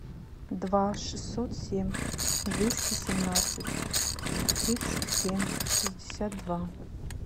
два шестьсот семь двести семнадцать тридцать семь шестьдесят два